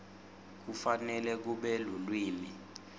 kufanele kube lulwimi